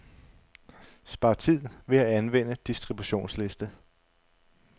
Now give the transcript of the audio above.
Spar tid ved at anvende distributionsliste.